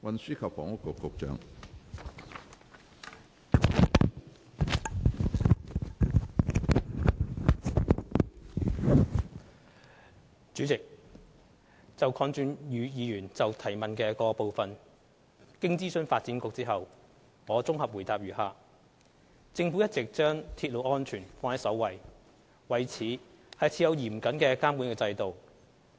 主席，就鄺俊宇議員質詢的各部分，經諮詢發展局後，現綜合主體答覆如下：政府一直將鐵路安全放在首位，為此設有嚴謹的監管制度。